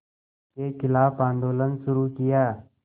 के ख़िलाफ़ आंदोलन शुरू किया